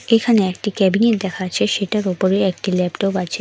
এখানে একটি ক্যাবিনেট দেখা যাচ্ছে সেটার ওপরে একটি ল্যাপটপ আছে।